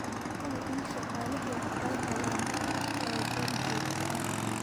Hubi in shaqaalahaagu ay helaan tababar joogto ah.